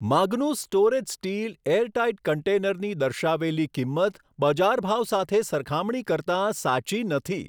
Magnus storage steel airtight કન્ટેનરની દર્શાવેલી કિંમત બજાર ભાવ સાથે સરખામણી કરતાં સાચી નથી.